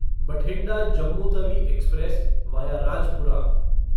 Bathinda Jammu Tawi express via Rajpura